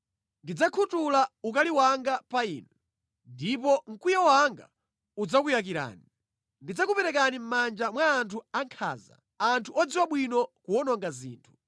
Ndidzakhuthula ukali wanga pa inu, ndipo mkwiyo wanga udzakuyakirani. Ndidzakuperekani mʼmanja mwa anthu ankhanza; anthu odziwa bwino kuwononga zinthu.